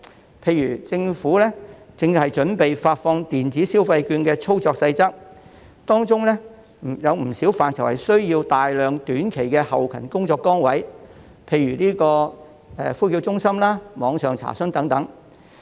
舉例而言，政府正準備發放電子消費券的操作細則，當中不少範疇需要設立大量短期的後勤工作崗位，例如呼叫中心、網上查詢等。